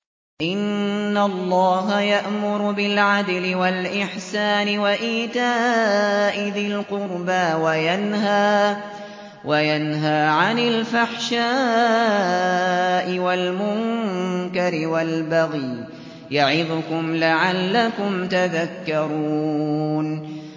۞ إِنَّ اللَّهَ يَأْمُرُ بِالْعَدْلِ وَالْإِحْسَانِ وَإِيتَاءِ ذِي الْقُرْبَىٰ وَيَنْهَىٰ عَنِ الْفَحْشَاءِ وَالْمُنكَرِ وَالْبَغْيِ ۚ يَعِظُكُمْ لَعَلَّكُمْ تَذَكَّرُونَ